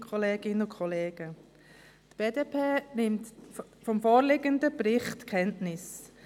Die BDP nimmt vom vorliegenden Bericht Kenntnis.